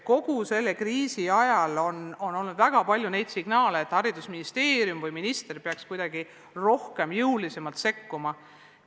Kogu kriisiaja on olnud väga palju signaale, et Haridus- ja Teadusministeerium või minister peaks kuidagi rohkem ja jõulisemalt sekkuma.